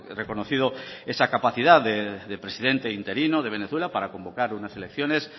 reconocido esa capacidad de presidente interino de venezuela para convocar unas elecciones